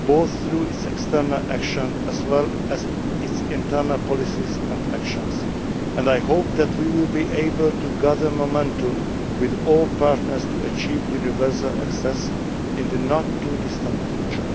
both through its external action as well as its internal policies and actions, and I hope that we will be able to gather momentum with all partners to achieve universal access in the not too distant future.